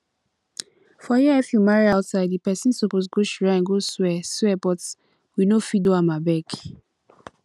for here if you marry outside the person suppose go shrine go swear swear but we no fit do am abeg